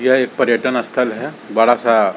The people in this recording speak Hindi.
यह एक पर्यटन स्थल है बड़ा सा --